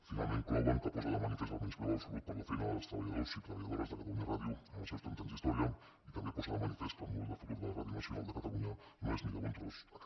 finalment clouen que posa de manifest el menyspreu absolut per la feina dels treballadors i treballadores de catalunya ràdio en els seus trenta anys d’història i també posa de manifest que el model de futur de la ràdio nacional de catalunya no és ni de bon tros aquest